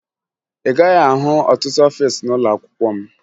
Ị gaghị ahụ ọtụtụ ọfiisi n'ụlọakwụkwọ m